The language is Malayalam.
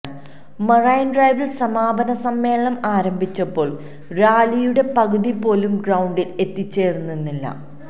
മറൈൻ ഡ്രൈവിൽ സമാപന സമ്മേളനം ആരംഭിച്ചപ്പോൾ റാലിയുടെ പകുതിപോലും ഗ്രൌണ്ടിൽ എത്തിച്ചേർന്നിരുന്നില്ല